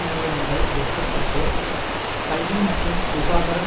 நிறுவனங்கள் விற்கப்பட்டு கல்வி மற்றும் சுகாதாரம்